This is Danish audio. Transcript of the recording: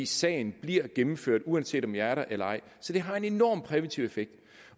sagen bliver gennemført uanset om jeg er der eller ej så det har en enorm præventiv effekt